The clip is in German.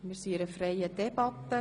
– Wir führen eine freie Debatte.